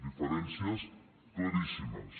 diferències claríssimes